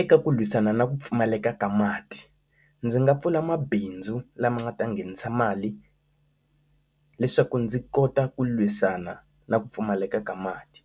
Eka ku lwisana na ku pfumaleka ka mati, ndzi nga pfula mabindzu lama nga ta nghenisa mali leswaku ndzi kota ku lwisana na ku pfumaleka ka mati